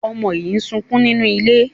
Ọmọ yín sọkún nínú ilé.